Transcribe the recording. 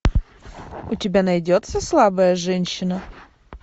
у тебя найдется слабая женщина